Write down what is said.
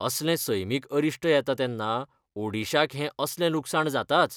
असलें सैमीक अरिश्ट येता तेन्ना ओडिशाक हें असलें लुकसाण जाताच.